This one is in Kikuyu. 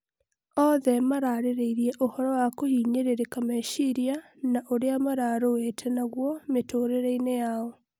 othe mararĩrĩirie ũhoro wa kũhinyĩrĩrika mecĩria na ũria marũĩte nagũo mĩtũrirĩine yao